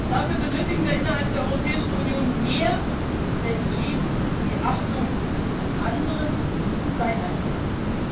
Dafür benötigen wir innerhalb der Europäischen Union mehr denn je die Achtung des anderen und seiner Interessen.